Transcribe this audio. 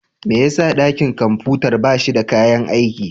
Me yasa dakin kwamfutar ba shi da kayan aiki?